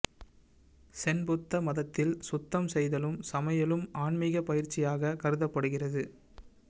சென் புத்த மதத்தில் சுத்தம் செய்தலும் சமையலும் ஆன்மிக பயிற்சியாக கருதப்படுகிறது